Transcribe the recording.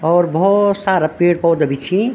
और बहौत सारा पेड़-पौधा भी छिं।